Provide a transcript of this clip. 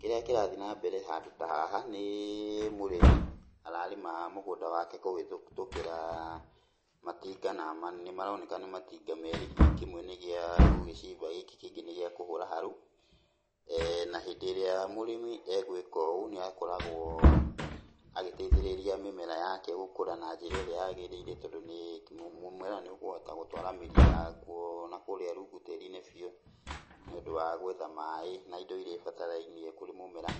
Kĩrĩa kĩrathiĩ nambere handũ ta haha, nĩ mũrĩmi ararĩma mũgũnda wake kũhĩtũkĩra matinga, na nĩmaroneka nĩ matinga meerĩ hihi kĩmwe nĩ gia gũgĩcimba gĩkĩ kĩngĩ nĩ gĩa kũhũra harũ. Na hĩndĩ ĩrĩa mũrĩmi egwĩka ũũ nĩ akoragwo agĩteithĩrĩria mĩmera yake gũkũra na njĩra ĩrĩa yagĩrĩire, tondũ nĩ, mũmera nĩ ũkũhota gũtwara mĩri yagwo nakũrĩa rungu tĩĩri-inĩ biũ, nĩũndũ wa gwetha maaĩ na indo iria ibatarainie kũrĩ mũmera.